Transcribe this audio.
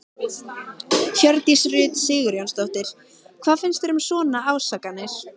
Hjördís Rut Sigurjónsdóttir: Hvað finnst þér um svona ásakanir?